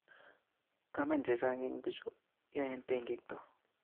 Komen chechang eng bichu yoen tekekto